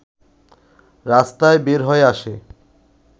রাস্তায় বের হয়ে আসে